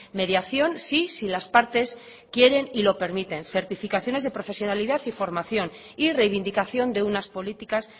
mediación sí si las partes quieren y lo permiten certificaciones de profesionalidad y formación y reivindicación de unas políticas